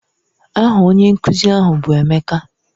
Aha onye nkuzi ahụ bụ Emeka.